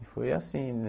E foi assim, né?